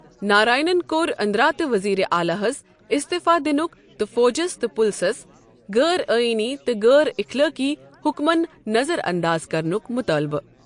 نارائنن کوٚر اندرا تہٕ وزیر اعلی ہس استفاء دنُک تہٕ فوجس تہٕ پُلسس غأر أئینی تہٕ غأر اخلأقی حُکمن نظر انداز کرنُک مطالبہٕ.